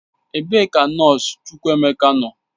Ebe ka nọọsụ Chukwuemeka nọ?